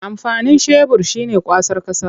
Amfanin shebur shi ne kwasar ƙasa.